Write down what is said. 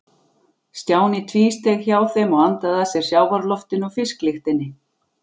Stjáni tvísteig hjá þeim og andaði að sér sjávarloftinu og fisklyktinni.